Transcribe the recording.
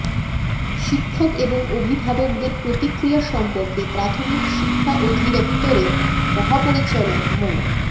শিক্ষক এবং অভিভাবকদের প্রতিক্রিয়া সম্পর্কে প্রাথমিক শিক্ষা অধিদপ্তরের মহাপরিচালক মো